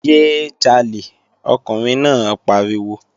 Yé é jalè! Ọkùnrin náà pariwo!